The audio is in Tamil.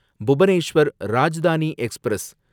புபனேஸ்வர் ராஜ்தானி எக்ஸ்பிரஸ்